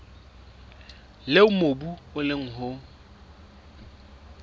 leo mobu o leng ho